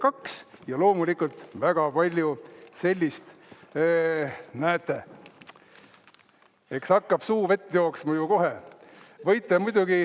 2" ja loomulikult väga palju sellist, näete, eks hakkab suu vett jooksma ju kohe.